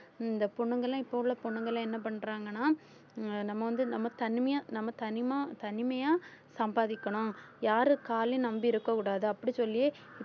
இந்த பொண்ணுங்கலாம் இப்ப உள்ள பொண்ணுங்கலாம் என்ன பண்றாங்கன்னா உம் நம்ம வந்து நம்ம தனிமையா நம்ம தனிமா~ தனிமையா சம்பாதிக்கணும் யாரு காலையும் நம்பி இருக்கக் கூடாது அப்படி சொல்லி